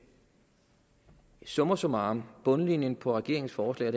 summa summarum er bundlinjen på regeringens forslag